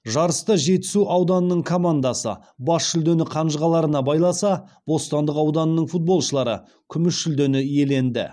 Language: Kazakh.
жарыста жетісу ауданының командасы бас жүлдені қанжығаларына байласа бостандық ауданының футболшылары күміс жүлдені иеленді